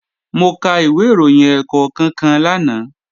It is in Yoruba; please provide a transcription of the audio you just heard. Mo ka ìwé ìròyìn ẹ̀ẹ̀kọ̀kan kan lánàá